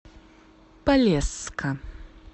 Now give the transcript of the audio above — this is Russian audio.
полесска